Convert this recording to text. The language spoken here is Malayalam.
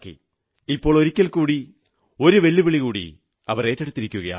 ഇപ്പോൾ ഒരിക്കൽകൂടി ഒരു വെല്ലുവിളി അവരേറ്റെടുത്തിരിക്കയാണ്